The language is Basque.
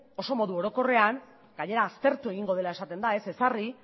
oso modu orokorrean gainera aztertu egingo dela esaten da ez ezarri